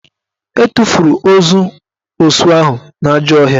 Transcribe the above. E tufuru ozu osu ahụ n'ajọ ọhịa